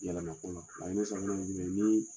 Yalama kɔnɔ hali n'i ye san tan ni duuru ye